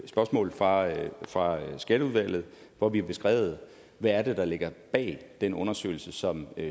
spørgsmål fra fra skatteudvalget hvor vi har beskrevet hvad det er der ligger bag den undersøgelse som